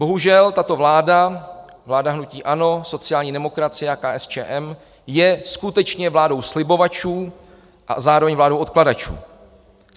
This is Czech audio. Bohužel tato vláda, vláda hnutí ANO, sociální demokracie a KSČM, je skutečně vládou slibovačů a zároveň vládou odkládačů.